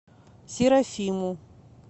серафиму